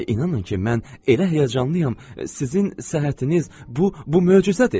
İnanın ki, mən elə həyəcanlıyam, sizin səhhətiniz bu bu möcüzədir.